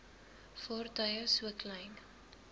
vaartuie so klein